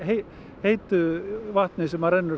heitu vatni sem rennur